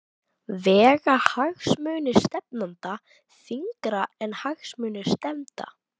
Vega hagsmunir stefnanda þyngra en hagsmunir stefnda?